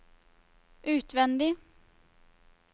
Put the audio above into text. utvendig